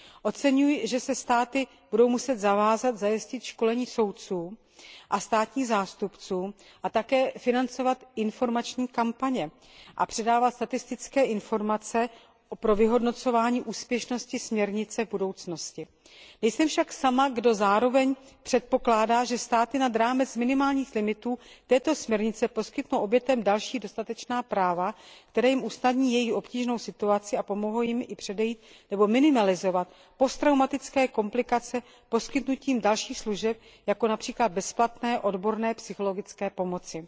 Oceňuji, že se státy budou muset zavázat zajistit školení soudců a státních zástupců a také financovat informační kampaně a předávat statistické informace pro vyhodnocování úspěšnosti směrnice v budoucnosti. Nejsem však sama, kdo zároveň předpokládá, že státy nad rámec minimálních limitů této směrnice poskytnou obětem další dostatečná práva, která jim usnadní jejich obtížnou situaci a pomohou jim i předejít nebo minimalizovat posttraumatické komplikace poskytnutím dalších služeb, jako například bezplatné odborné psychologické pomoci.